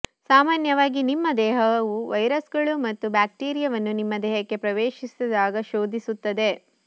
ಸಾಮಾನ್ಯವಾಗಿ ನಿಮ್ಮ ದೇಹವು ವೈರಸ್ಗಳು ಮತ್ತು ಬ್ಯಾಕ್ಟೀರಿಯಾವನ್ನು ನಿಮ್ಮ ದೇಹಕ್ಕೆ ಪ್ರವೇಶಿಸಿದಾಗ ಶೋಧಿಸುತ್ತದೆ